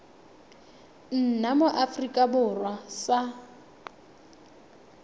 nna mo aforika borwa sa